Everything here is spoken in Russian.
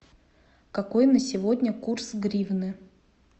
какой на сегодня курс гривны